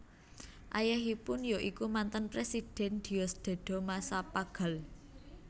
Ayahipun ya iku mantan Presiden Diosdado Macapagal